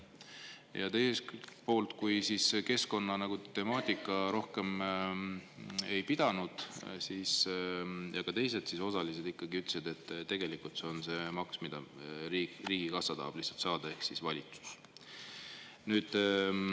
Ja kui keskkonnatemaatika rohkem ei pidanud, siis ka teised osalised ikkagi ütlesid, et tegelikult on see maks, mida riigikassa ehk valitsus tahab lihtsalt saada.